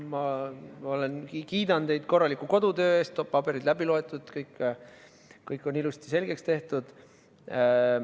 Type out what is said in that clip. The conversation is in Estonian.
Ma kiidan teid korraliku kodutöö eest – paberid on läbi loetud, kõik on ilusti selgeks tehtud.